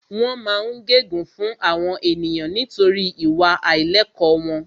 Wọ́n máa ń gẹ gun fún àwọn ènìyàn nítorí ìwà àìlẹ̀kọ́ wọn